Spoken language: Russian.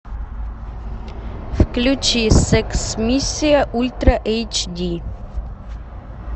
включи секс миссия ультра эйч ди